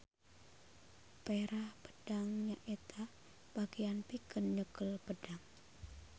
Perah pedang nyaeta bagean pikeun nyekel pedang.